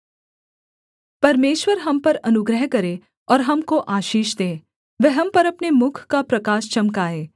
परमेश्वर हम पर अनुग्रह करे और हमको आशीष दे वह हम पर अपने मुख का प्रकाश चमकाए सेला